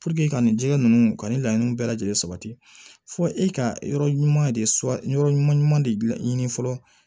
ka nin jɛgɛ ninnu ka nin laɲini bɛɛ lajɛlen sabati fo e ka yɔrɔ ɲuman de so yɔrɔ ɲuman de la ɲini fɔlɔ